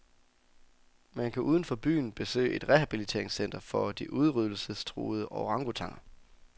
Man kan uden for byen besøge et rehabiliteringscenter for de udryddelsestruede orangutaner.